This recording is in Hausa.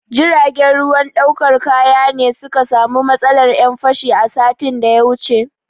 Jiragen ruwan ɗaukar kaya ne su ka sami matsalar 'yan fashi a satin da ya wuce.